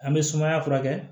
An bɛ sumaya furakɛ